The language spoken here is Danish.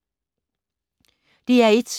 DR1